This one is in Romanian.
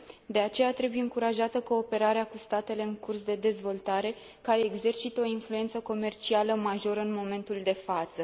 De aceea, trebuie încurajată cooperarea cu statele în curs de dezvoltare, care exercită o influență comercială majoră în momentul de față.